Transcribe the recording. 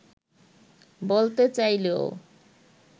বলতে চাইলেও